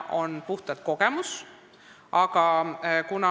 Räägin puhtalt kogemuse põhjal.